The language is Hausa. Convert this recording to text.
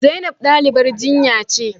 Zainab dalibar jinya ce